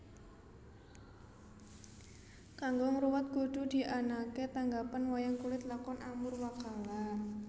Kanggo ngruwat kudu dianaké tanggapan wayang kulit Lakon Amurwakala